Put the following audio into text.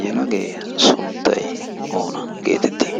yelagee sunttai oona geetettii